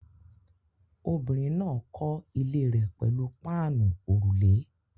Obìnrin náà kọ́ ilé rẹ̀ pẹ̀lú páànù òrùlé